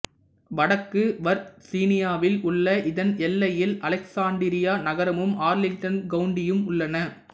வடக்கு வர்சீனியாவில் உள்ள இதன் எல்லையில் அலெக்சாண்டிரியா நகரமும் ஆர்லிங்டன் கவுண்டியும் உள்ளன